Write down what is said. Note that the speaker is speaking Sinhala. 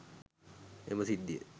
එම සිද්ධියෙන්